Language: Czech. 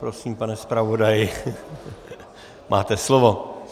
Prosím, pane zpravodaji, máte slovo.